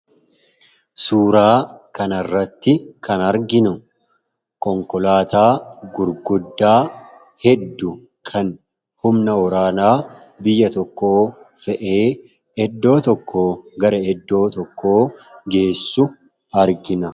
suuraa kanarratti kan arginu konkolaataa gurguddaa heddu kan humna oraanaa biyya tokko fe'ee eddoo tokko gara eddoo tokko geessu argina